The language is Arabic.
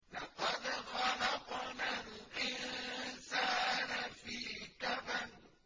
لَقَدْ خَلَقْنَا الْإِنسَانَ فِي كَبَدٍ